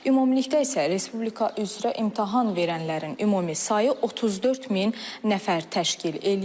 Ümumilikdə isə respublika üzrə imtahan verənlərin ümumi sayı 34 min nəfər təşkil eləyir.